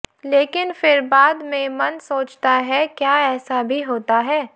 लेकिन फिर बाद में मन सोचता है क्या ऐसा भी होता है